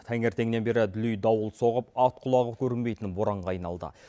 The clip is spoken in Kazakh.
таңертеңнен бері дүлей дауыл соғып ат құлағы көрінбейтін боранға айналды